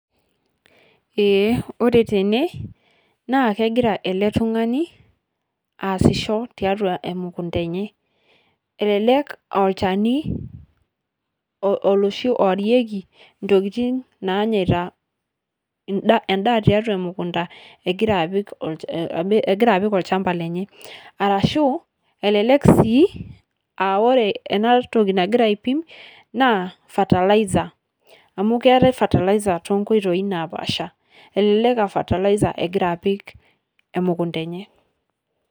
Ee ore tene naa kegira ele tung'ani aasisho tiatua emukunda enye, elelek oolchani oloshi oorieki ntokitin nainyaita enda endaa tiatua emukunda egira apik olch egira apik olchamba lenye arashu elelek sii a ore ena toki nagira aipim naa fertilizer amu keetai fertilizer too nkoitoi napaasha. Elelek aa fertilizer egira apik emukunda enye.